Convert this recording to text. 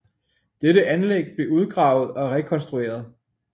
Dette anlæg blev udgravet og rekonstrueret